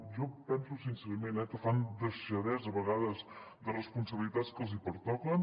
jo penso sincerament que fan deixadesa a vegades de responsabilitats que els hi pertoquen